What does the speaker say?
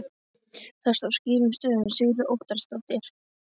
Þar stóð skýrum stöfum Sigríður Óttarsdóttir.